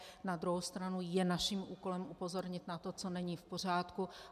Na druhou stranu je naším úkolem upozornit na to, co není v pořádku.